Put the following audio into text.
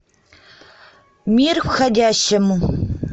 мир входящему